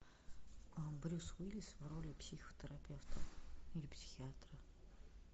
брюс уиллис в роли психотерапевта или психиатра